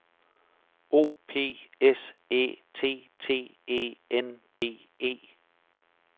O P S Æ T T E N D E